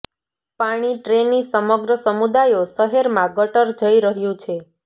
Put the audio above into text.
પાણી ટ્રેની સમગ્ર સમુદાયો શહેરમાં ગટર જઈ રહ્યું છે